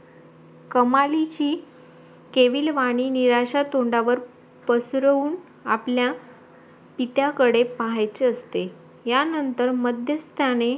कमालीची केवीलवाणी निराशा तोंडावर पसरवून आपल्या पित्याकडे पाहायचा असते या नंतर माध्यस्थाने